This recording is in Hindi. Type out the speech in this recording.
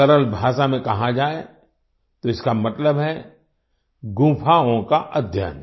सरल भाषा में कहा जाए तो इसका मतलब है गुफाओं का अध्ययन